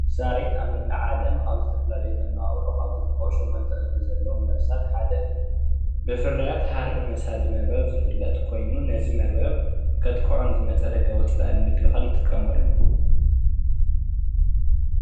በዓል ሸሞንተ እግሪ መርበብ ብምስራሕ ዝፈለጥ ሳርየት እዩ።